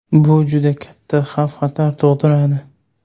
Bu juda katta xavf-xatar tug‘diradi.